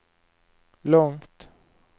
långt